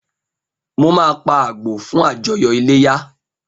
Mo máa pa àgbò fún àjọyọ̀ iléyá